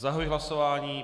Zahajuji hlasování.